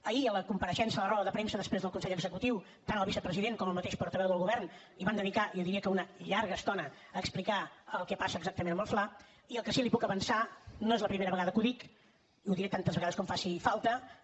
ahir a la compareixença a la roda de premsa després del consell executiu tant el vicepresident com el mateix portaveu del govern van dedicar jo diria que una llarga estona a explicar el que passa exactament amb el fla i el que sí que li puc avançar no és la primera vegada que ho dic ho diré tantes vegades com faci falta